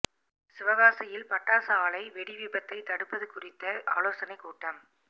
சிவகாசியில் பட்டாசு ஆலை வெடி விபத்தை தடுப்பது குறித்த ஆலோசனைக் கூட்டம்